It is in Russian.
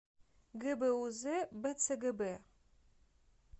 гбуз бцгб